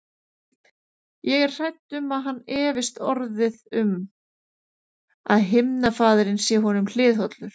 Ég er hrædd um að hann efist orðið um, að himnafaðirinn sé honum hliðhollur.